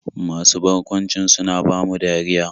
Masu barkwancin suna bamu dariya.